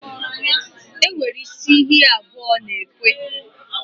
Enwere isi ihe abụọ na-ekwu.